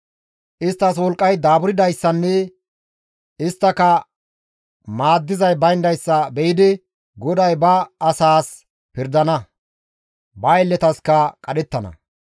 Isttas wolqqay daaburdayssanne isttaka maaddizay bayndayssa be7idi, GODAY ba asaas pirdana; ba aylletaskka qadhettana.